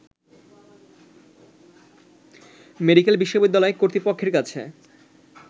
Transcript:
medical বিশ্ববিদ্যালয় কর্তৃপক্ষের কাছে